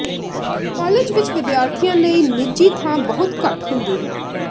college ਵਿੱਚ ਵਿਦਿਆਰਥੀਆਂ ਲਈ ਨਿੱਜੀ ਥਾਂ ਬਹੁਤ ਘੱਟ ਹੁੰਦੀ ਹੈ